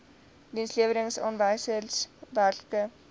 dienslewerings aanwysers werklike